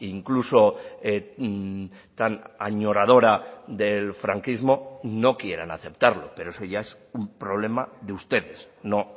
incluso tan añoradora del franquismo no quieran aceptarlo pero eso ya es un problema de ustedes no